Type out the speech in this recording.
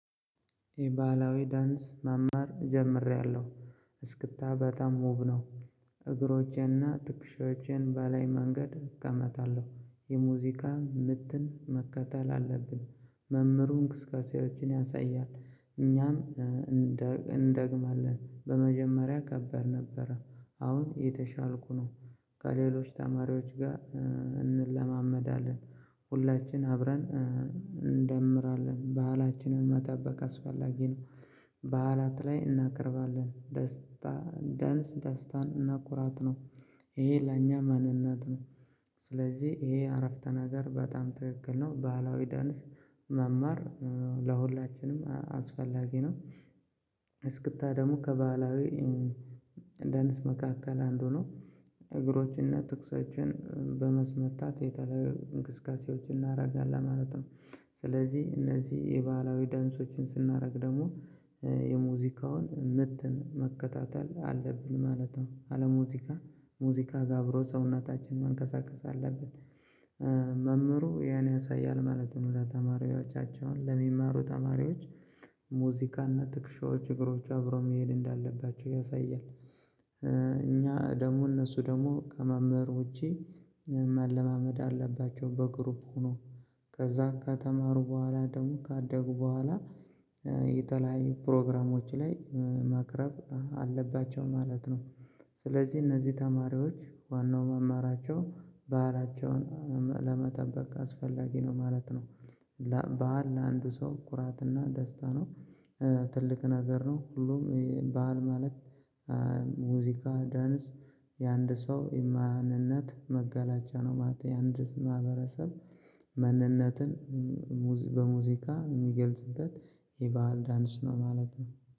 የባህላዊ ዳንስ መማር ጀምሬያለሁ እስክታ በጣም ውብ ነው። እግሮቼ እና ትክሻዎቼን በላይ መንገድ እቀመጣለሁ የሙዚቃ ምትን መከተል አለብን መምህሩን እንቅስቃሴዎችን ያሳያል እኛም እንደግማለን በመጀመሪያ ከባድ ነበረ። አሁን እየተሻልኩ ነው። ከሌሎች ተማሪዎች ጋር እንለማመዳለን። ሁላችን አብረን እንደምራለን ባህላችንን መጠበቅ አስፈላጊ ነው። በዓላት ላይ እናቀርባለን ደስታ ዳንስ ደስታን እና ኩራት ነው። ይሄ ለኛ ማንነት ነው። ስለዚህ ይሄ አረፍተ ነገር በጣም ትክክል ነው ባህላዊ ዳንስ መማር ለሁላችንም አስፈላጊ ነው። እስክታ ደግሞ ከባህላዊ እዳንስ መካከል አንዱ ነው። እግሮችን እና ትኩሶችን በማስመታት የተለያዩ እንቅስቃሴዎችን እናደርጋለን ማለት ነው። ስለዚህ እነዚህ የባህላዊ ዳንሶችን ስናደርግ ደግሞ የሙዚቃውን ምትን መከታተል አለብን ማለት ነው። አለሙዚቃ ሙዚቃ ጋር አብሮ ሰውነታችን መንቀሳቀስ አለብን። መምህሩ ያን ያሳያል ማለት ነው። ለተማሪዎቻቸውን ለሚማሩ ተማሪዎች ሙዚቃ እና ትከሻዎች እግሮች አብረው መሄድ እንዳለባቸው ያሳያል። እኛ ደግሞ እነሱ ደግሞ ከመምህር ውጪ ማለማመድ አለባቸው በግሩፕ ሆኖ። ከዛ ከተማሩ በኋላ ደግሞ ካደጉ በኋላ የተለያዩ ፕሮግራሞች ላይ ማቅረብ አለባቸው ማለት ነው። ስለዚህ እነዚህ ተማሪዎች ዋናው መማራቸው ባህላቸውን ለመጠበቅ አስፈላጊ ነው ማለት ነው። ባህል ለአንዱ ሰው ኩራት እና ደስታ ነው። ትልቅ ነገር ነው ሁሉም ባህል ማለት። ሙዚቃ ዳንስ የአንድ ሰው የማንነት መገላጫ ነው ማለት ነው። የአንድ ማህበረሰብ ማንነትን በሙዚቃ የሚገልጽበት የባህል ዳንስ ነው ማለት ነው